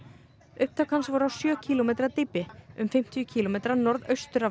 upptök hans voru á sjö kílómetra dýpi um fimmtíu kílómetra norðaustur af